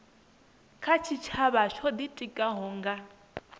kha tshitshavha tsho itikaho nga